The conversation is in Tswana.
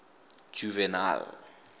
juvenal